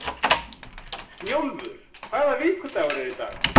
Snjólfur, hvaða vikudagur er í dag?